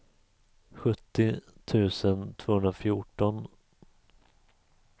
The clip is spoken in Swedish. sjuttio tusen tvåhundrafjorton